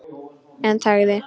En þagði.